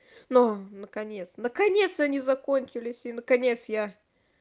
но наконец наконец то они закончились и наконец я